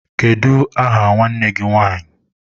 Kedụ aha nwanne gị nwanyị?